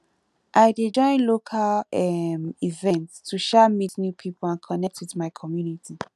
i dey join local um events to um meet new people and connect with my community